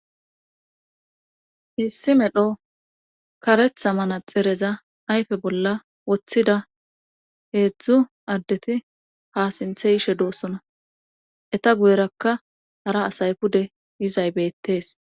Missi medho karetha mana xereza ayfe bolla woththida heedzdzu addeti ha sinthe yishe doossona eta guyerakka ara asay pude yizay beettees.